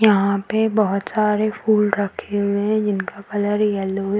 यहां पे बहुत सारे फूल रखे हुए है जिसका कलर येलो है।